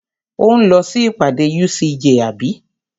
Ò ń lọ sí ìpàdé UCJ àbí?